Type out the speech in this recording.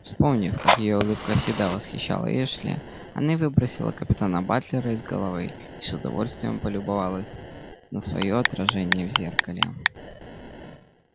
вспомнив как её улыбка всегда восхищала эшли она выбросила капитана батлера из головы и с удовольствием полюбовалась на своё отражение в зеркале